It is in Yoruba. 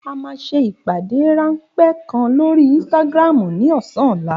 A máa ṣe ìpàdé ráńpẹ́ kan lórí Instagram ní ọ̀sán ọ̀la